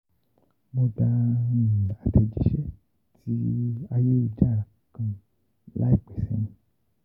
Mo gba atejise ti ayelujara kan laipe seyin.